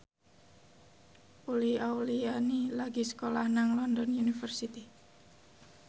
Uli Auliani lagi sekolah nang London University